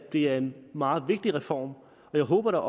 det er en meget vigtig reform og jeg håber